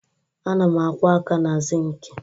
Ana m akwọ aka na sịịnkị